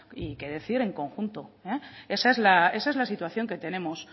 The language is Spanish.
y qué decir en conjunto esa es la situación que tenemos